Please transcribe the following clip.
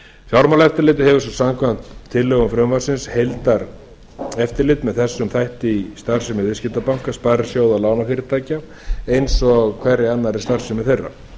fjármálaeftirlitið hefur svo samkvæmt tillögum frumvarpsins heildareftirlit með þessum þætti í starfsemi viðskiptabanka sparisjóða og lánafyrirtækja eins og hverri annarri starfsemi þeirra